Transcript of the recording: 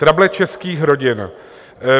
Trable českých rodin...